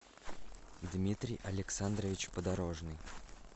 дмитрий александрович подорожный